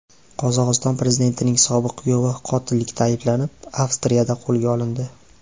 Qozog‘iston prezidentining sobiq kuyovi qotillikda ayblanib, Avstriyada qo‘lga olindi.